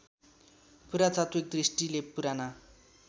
पुरातात्विक दृष्टिले पुराना